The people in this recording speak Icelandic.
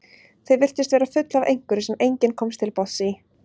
Þau virtust vera full af einhverju sem enginn komst til botns í.